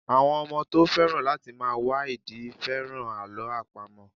Àwọn ọmọ tó féràn láti máa wá ìdí féràn Àlọ́ àpamọ̀.